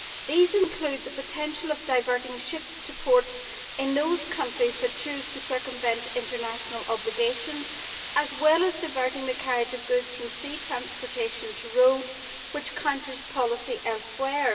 These include the potential of diverting ships to ports in those countries that choose to circumvent international obligations, as well as diverting the carriage of goods from sea transportation to roads, which counters policy elsewhere.